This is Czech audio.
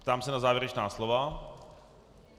Ptám se na závěrečná slova.